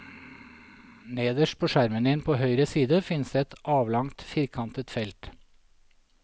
Nederst på skjermen din på høyre side finnes det et avlangt, firkantet felt.